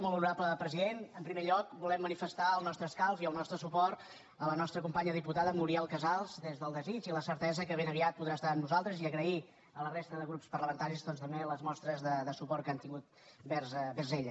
molt honorable president en primer lloc volem manifestar el nostre escalf i el nostre suport a la nostra companya diputada muriel casals des del desig i la certesa que ben aviat podrà estar amb nosaltres i agrair a la resta de grups parlamentaris doncs també les mostres de suport que han tingut vers ella